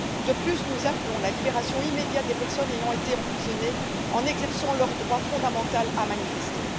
De plus, nous appelons à la libération immédiate des personnes ayant été emprisonnées pour avoir exercé leur droit fondamental à manifester.